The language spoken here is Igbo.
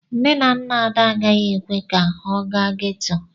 Nne na nna Ada agaghị ekwe ka ọ gaa ghetto.